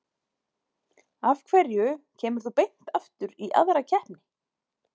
Af hverju kemur þú beint aftur í aðra keppni?